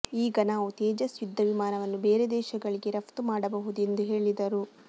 ಈಗ ನಾವು ತೇಜಸ್ ಯುದ್ಧ ವಿಮಾನವನ್ನು ಬೇರೆ ದೇಶಗಳಿಗೆ ರಫ್ತು ಮಾಡಬಹುದು ಎಂದು ಹೇಳಿದರು